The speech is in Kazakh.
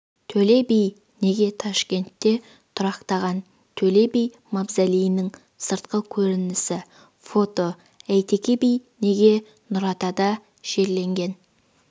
төле би неге ташкентте тұрақтаған төле би мавзолейінің сыртқы көрінісі фото әйтеке би неге нұратада жерленген